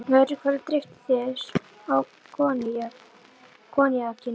Öðru hverju dreyptu þeir á koníakinu.